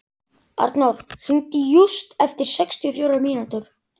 Arnór, hringdu í Júst eftir sextíu og fjórar mínútur.